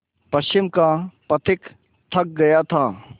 पश्चिम का पथिक थक गया था